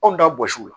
Anw da bɔsiw